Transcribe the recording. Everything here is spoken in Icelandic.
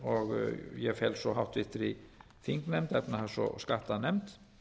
og ég fel svo háttvirtur þingnefnd efnahags og skattanefnd